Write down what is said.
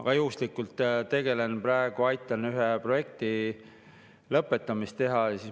Ma juhuslikult aitan praegu ühte projekti lõpetada.